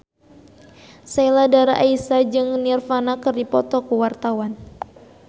Sheila Dara Aisha jeung Nirvana keur dipoto ku wartawan